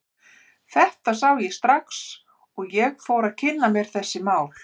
Þetta sá ég strax og ég fór að kynna mér þessi mál.